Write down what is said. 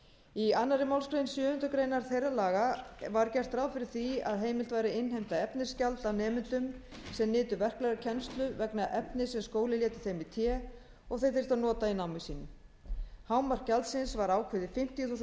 í annarri málsgrein sjöundu greinar þeirra laga var gert ráð fyrir því að heimilt væri að innheimta efnisgjald af nemendum sem nytu verklegrar kennslu vegna efnis sem skóli léti þeim í té og þeir þyrftu að nota í námi sínu hámark gjaldsins var ákveðið fimmtíu þúsund